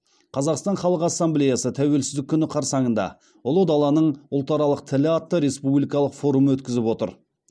қазақстан халқы ассамблеясы тәуелсіздік күні қарсаңында ұлы даланың ұлтаралық тілі атты республикалық форум өткізіп отыр